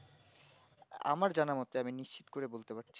আমার জানা মোতে আমি নিস্চিত ছিল করে বলতে পারছি